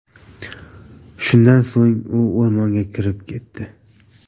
Shundan so‘ng u o‘rmonga kirib ketdi.